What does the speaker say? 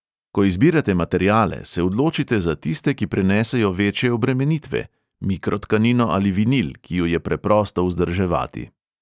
Ko izbirate materiale, se odločite za tiste, ki prenesejo večje obremenitve – mikrotkanino ali vinil, ki ju je preprosto vzdrževati.